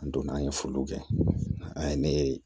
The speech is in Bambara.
An donna an ye foliw kɛ an ye ne